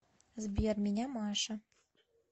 сбер меня маша